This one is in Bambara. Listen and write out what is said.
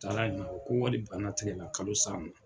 Taara ko yali bana tɛ ne la kalo sa in na.